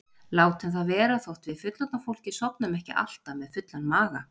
Látum það vera þótt við fullorðna fólkið sofnum ekki alltaf með fullan maga.